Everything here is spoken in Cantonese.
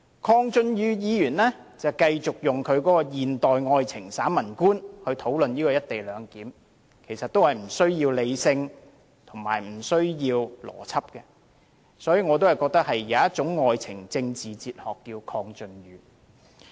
鄺俊宇議員繼續用他的現代愛情散文觀討論"一地兩檢"，其實也是不需要理性和邏輯的，所以我認為有一種愛情政治哲學叫"鄺俊宇"。